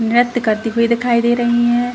नृत्य करती हुई दिखाई दे रही हैं ।